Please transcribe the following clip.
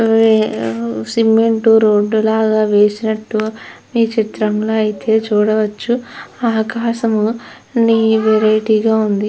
ఉమ్ cement road లాగా వేసినట్టు ఈ చిత్రం లో అయితే చూడవచ్చు ఆకాశం లో ని వెరైటీ గా ఉంది.